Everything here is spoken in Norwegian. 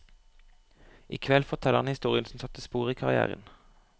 I kveld forteller han historien som satte spor i karrièren.